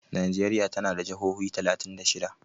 Nijeriya tana da jahohi talatin da shida.